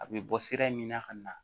A bɛ bɔ sira min na ka na